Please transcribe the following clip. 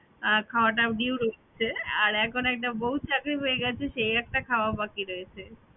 খাওয়াটাও due রচ্ছে আর এখন একটা বউ চাকরি পেয়ে গেছে সেই একটা খাওয়া বাকি রয়েছে